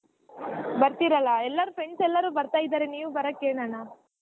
ಬರ್ತೀರಾಲಾ ಎಲ್ಲರೂ Friends ಎಲ್ಲಾ ಬರ್ತಾ ಇದಾರೆ ನೀವ್ ಬರಾಕ್ ಏನ್ ಅಣ್ಣಾ.